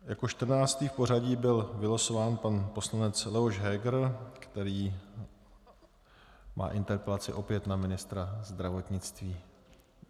Jako čtrnáctý v pořadí byl vylosován pan poslanec Leoš Heger, který má interpelaci opět na ministra zdravotnictví.